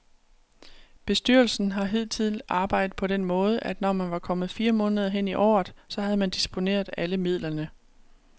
Bestyrelsen har hidtil arbejdet på den måde, at når man var kommet fire måneder hen i året, så havde man disponeret alle midlerne.